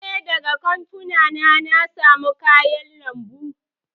E, daga kantuna na samo kayan lambun.